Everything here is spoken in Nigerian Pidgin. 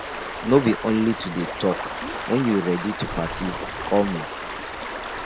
no be only to dey talk wen you ready to party call me.